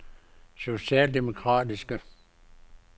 socialdemokratiske